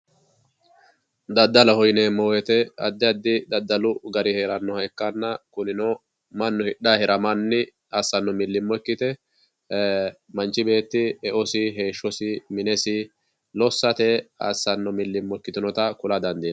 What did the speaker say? daddaloho yineemmo woyte addi addihu daddalu gari heerannoha ikkanna kunino mannu hidhay hiramanni assanno millimmo ikkite manchi beetti eosi minesi heeshshosi lossate assanno millimmo ikkitinota kula dandiinanni